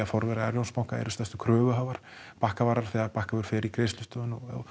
forverar Arion banka eru stærstu kröfuhafar Bakkavarar þegar Bakkavör fer í greiðslustöðvun